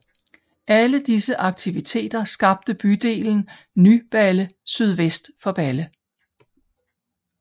Alle disse aktiviteter skabte bydelen Ny Balle sydvest for Balle